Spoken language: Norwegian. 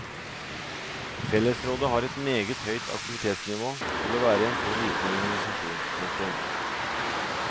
Fellesrådet har et meget høyt aktivitetsnivå til å være en så liten organisasjon. punktum